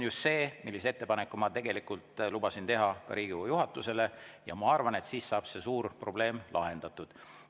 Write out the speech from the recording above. Just sellise ettepaneku ma olen lubanud teha ka Riigikogu juhatusele, ma arvan, et siis saab see suur probleem lahendatud.